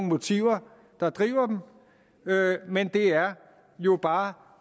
motiver der driver dem men det er jo bare